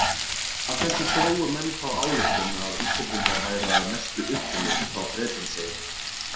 Af þessu drógu menn þá ályktun að Íslendingar væru að mestu upprunnir frá Bretlandseyjum.